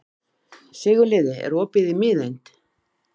Sigurliði, er opið í Miðeind?